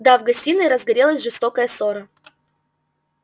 да в гостиной разгорелась жестокая ссора